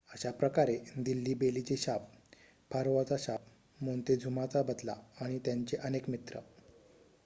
अशाप्रकारे दिल्ली बेलीचे शाप फारोआचा शाप मोन्तेझुमाचा बदला आणि त्यांचे अनेक मित्र